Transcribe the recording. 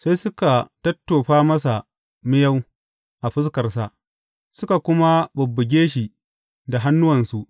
Sai suka tottofa masa miyau a fuskarsa, suka kuma bubbuge shi da hannuwansu.